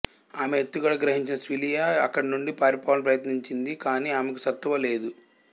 ఆమె ఎత్తుగడ గ్రహించిన సిల్వియా అక్కడి నుండి పారిపోవాలని ప్రయత్నించింది కానీ ఆమెకు సత్తువ లేదు